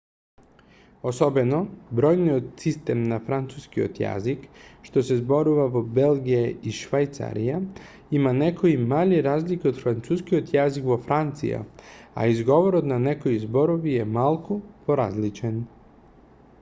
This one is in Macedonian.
особено бројниот систем на францускиот јазик што се зборува во белгија и швајцарија има некои мали разлики од францускиот јазик во франција а изговорот на некои зборови е малку поразличен